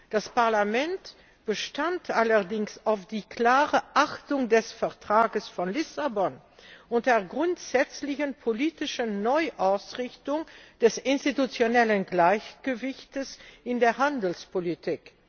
Das Parlament bestand allerdings auf der klaren Achtung des Vertrags von Lissabon und der grundsätzlichen politischen Neuausrichtung des institutionellen Gleichgewichts in der Handelspolitik.